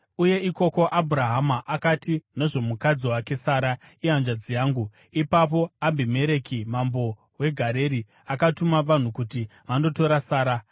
uye ikoko Abhurahama akati nezvomukadzi wake Sara, “Ihanzvadzi yangu.” Ipapo Abhimereki mambo weGerari akatuma vanhu kuti vandotora Sara.